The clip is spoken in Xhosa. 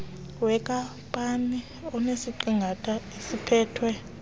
wenkampani enesiqingatha esiphethwe